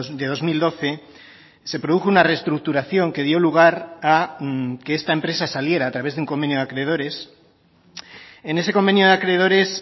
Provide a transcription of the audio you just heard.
de dos mil doce se produjo una restructuración que dio lugar a que esta empresa saliera a través de un convenio de acreedores en ese convenio de acreedores